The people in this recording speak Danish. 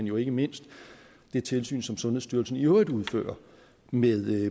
jo ikke mindst det tilsyn som sundhedsstyrelsen i øvrigt udfører med